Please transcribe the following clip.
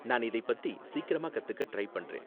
நான் இதை பத்தி சீக்கிரமா கத்துக்க ட்ரை பண்றேன்.